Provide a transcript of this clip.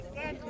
Desant.